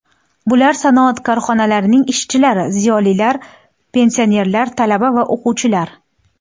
Bular sanoat korxonalarining ishchilari, ziyolilar, pensionerlar, talaba va o‘quvchilar.